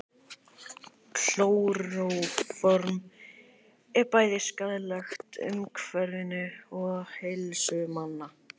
klóróform er bæði skaðlegt umhverfinu og heilsu manna